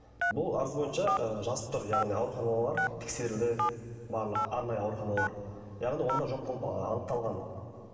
бұл арыз бойынша ы жазып тұр яғни ауруханалар тексерілді барлық арнайы ауруханалар яғни онда жоқ болып анықталған